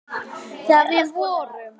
Þegar við vorum.